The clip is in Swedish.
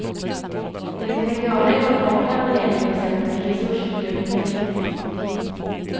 Det vi kan göra i vår vardag när det gäller till exempel resursförbrukning är viktigt.